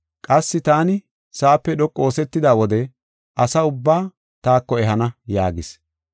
Qassi taani sa7ape dhoqu oosetida wode asa ubbaa taako ehana” yaagis.